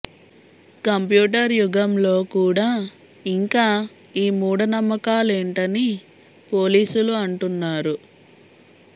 computer యుగంలో కూడా ఇంకా ఈ మూఢ నమ్మాకలేంటని పోలీసులు అంటున్నారు